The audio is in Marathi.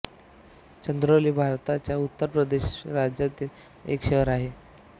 चंदौली भारताच्या उत्तर प्रदेश राज्यातील एक शहर आहे